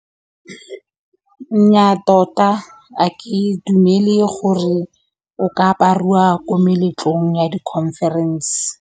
Nnyaa tota a ke dumele gore o ka apariwa ko meletlong ya di-conference.